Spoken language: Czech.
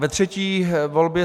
Ke třetí volbě: